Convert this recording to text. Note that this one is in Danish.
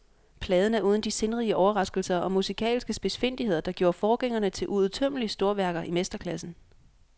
Pladen er uden de sindrige overraskelser og musikalske spidsfindigheder, der gjorde forgængerne til uudtømmelige storværker i mesterklassen.